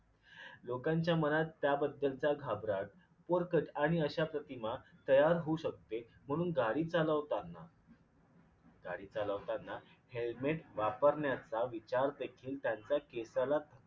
लोकांच्या मनात त्याबद्दलचा घाबराट पोरकच आणि अशा प्रतिमा तयार होऊ शकते म्हणून गाडी चालवताना गाडी चालवताना Helmet वापरण्याचा विचार देखील त्यांच्या केसाला